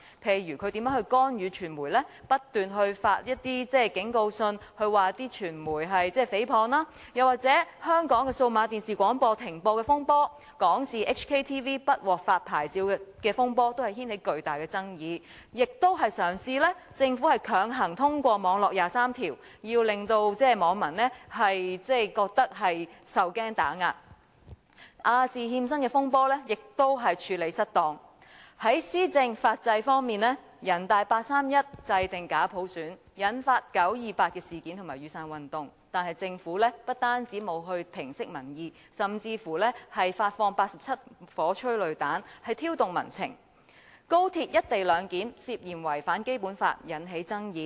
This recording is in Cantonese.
例如他如何干預傳媒，不斷發出警告信指傳媒誹謗；又或香港數碼廣播的停播風波，香港電視網絡不獲發牌照的風波亦掀起巨大的爭議；政府亦嘗試強行通過"網絡廿三條"，令網民受驚打壓；亞洲電視的欠薪風波亦處理失當；在施政法制方面，人大八三一制訂假普選，引發九二八事件和雨傘運動，但政府不但沒有平息民意，甚至發放87顆催淚彈，挑動民情；高鐵"一地兩檢"涉嫌違反《基本法》，引起爭議。